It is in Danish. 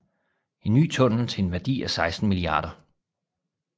En ny tunnel til en værdi af 16 mia